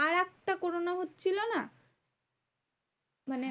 মানে